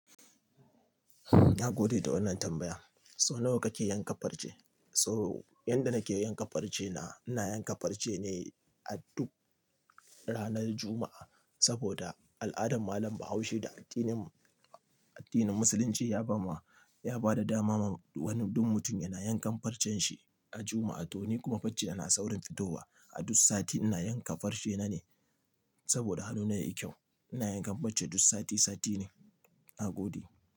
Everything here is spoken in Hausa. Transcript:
Na gode da wannan tambaya. Sau nawa kake yanka farce? To yanda nake yanka farce na, ina yanka farce ne a duk ranar Juma'a sabida al'adar malam Bahaushe da addinin, addinin Musulunci ya ba ma, ya ba da dama wa duk mutum yana yankan farcen shi a Juma'a. To ni kuma farcena na saurin fitowa. A duk sati ina yanka farce na ne saboda hannuna yayi kyau. Ina yankan farce duk sati sati ne. Na gode.